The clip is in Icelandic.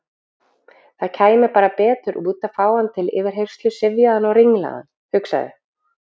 Það kæmi bara betur út að fá hann til yfirheyrslu syfjaðan og ringlaðan, hugsaði